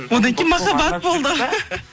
одан кейін махаббат болды